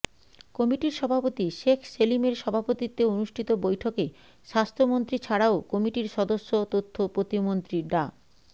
কমিটির সভাপতি শেখ সেলিমের সভাপতিত্বে অনুষ্ঠিত বৈঠকে স্বাস্থ্যমন্ত্রী ছাড়াও কমিটির সদস্য তথ্য প্রতিমন্ত্রী ডা